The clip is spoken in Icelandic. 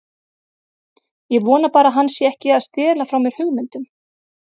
Ég vona bara að hann sé ekki að stela frá mér hugmyndum.